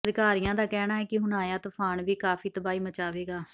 ਅਧਿਕਾਰੀਆਂ ਦਾ ਕਹਿਣਾ ਹੈ ਕਿ ਹੁਣ ਆਇਆ ਤੂਫਾਨ ਵੀ ਕਾਫੀ ਤਬਾਹੀ ਮਚਾਵੇਗਾ